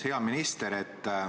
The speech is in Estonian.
Hea minister!